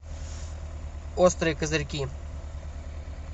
острые козырьки